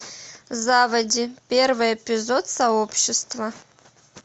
заводи первый эпизод сообщества